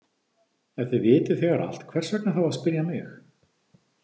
Ef þið vitið þegar allt, hvers vegna þá að spyrja mig?